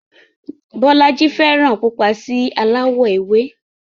Bọ́lájí fẹ́ràn pupa sí aláwọ̀ ewé